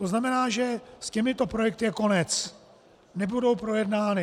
To znamená, že s těmito projekty je konec, nebudou projednány.